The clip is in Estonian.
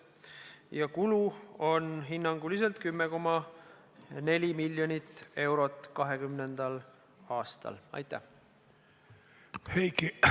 Ja kulu on hinnanguliselt 10,4 miljonit eurot 2020. aastal.